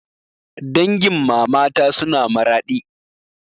Dangin mamata suna Maradi